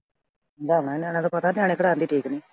ਦੋਵਾਂ ਨਿਆਣਿਆਂ ਦਾ ਪਤਾ, ਨਾਲੇ ਕਰਾ ਕੇ ਦੇਖ ਲਈਂ।